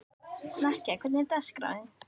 Snekkja, hvernig er dagskráin?